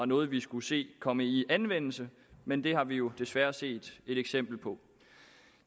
noget vi skulle se komme i anvendelse men det har vi desværre set et eksempel på